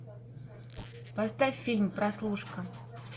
поставь фильм прослушка